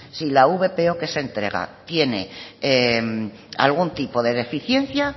si la vpo que se entrega tiene algún tipo de deficiencia